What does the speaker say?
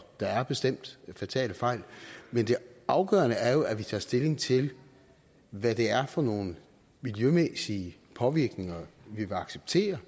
der er bestemt fatale fejl men det afgørende er jo at vi tager stilling til hvad det er for nogle miljømæssige påvirkninger vi vil acceptere